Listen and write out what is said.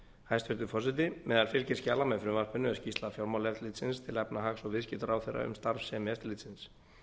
hæstvirtur forseti meðal fylgiskjala með frumvarpinu er skýrsla fjármálaeftirlitsins til efnahags og viðskiptaráðherra um starfsemi eftirlitsins